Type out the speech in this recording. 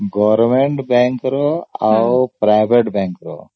government bank ର ଆଉ private bank ର